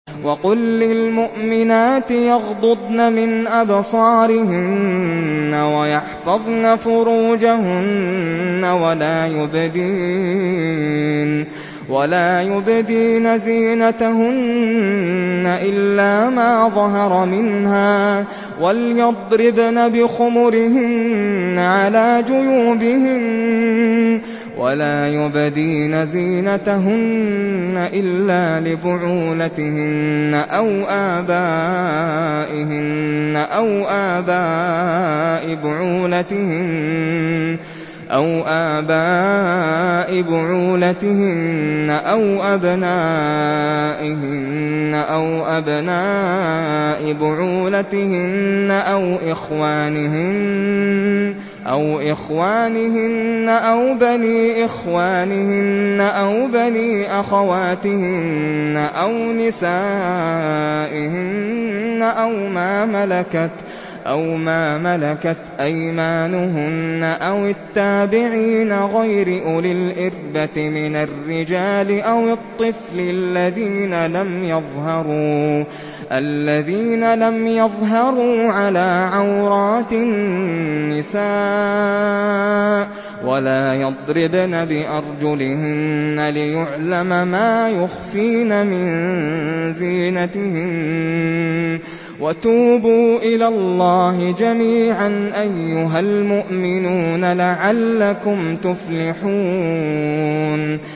وَقُل لِّلْمُؤْمِنَاتِ يَغْضُضْنَ مِنْ أَبْصَارِهِنَّ وَيَحْفَظْنَ فُرُوجَهُنَّ وَلَا يُبْدِينَ زِينَتَهُنَّ إِلَّا مَا ظَهَرَ مِنْهَا ۖ وَلْيَضْرِبْنَ بِخُمُرِهِنَّ عَلَىٰ جُيُوبِهِنَّ ۖ وَلَا يُبْدِينَ زِينَتَهُنَّ إِلَّا لِبُعُولَتِهِنَّ أَوْ آبَائِهِنَّ أَوْ آبَاءِ بُعُولَتِهِنَّ أَوْ أَبْنَائِهِنَّ أَوْ أَبْنَاءِ بُعُولَتِهِنَّ أَوْ إِخْوَانِهِنَّ أَوْ بَنِي إِخْوَانِهِنَّ أَوْ بَنِي أَخَوَاتِهِنَّ أَوْ نِسَائِهِنَّ أَوْ مَا مَلَكَتْ أَيْمَانُهُنَّ أَوِ التَّابِعِينَ غَيْرِ أُولِي الْإِرْبَةِ مِنَ الرِّجَالِ أَوِ الطِّفْلِ الَّذِينَ لَمْ يَظْهَرُوا عَلَىٰ عَوْرَاتِ النِّسَاءِ ۖ وَلَا يَضْرِبْنَ بِأَرْجُلِهِنَّ لِيُعْلَمَ مَا يُخْفِينَ مِن زِينَتِهِنَّ ۚ وَتُوبُوا إِلَى اللَّهِ جَمِيعًا أَيُّهَ الْمُؤْمِنُونَ لَعَلَّكُمْ تُفْلِحُونَ